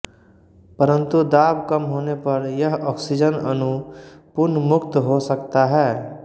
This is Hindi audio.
परंतु दाब कम होने पर यह ऑक्सीजन अणु पुन मुक्त हो सकता है